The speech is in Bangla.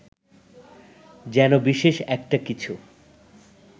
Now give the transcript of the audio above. যেন বিশেষ একটা কিছু